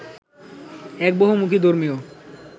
এক বহুমুখী ধর্মীয়